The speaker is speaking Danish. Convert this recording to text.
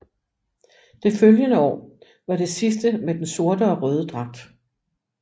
Det følgende år var det sidste med den sorte or røde dragt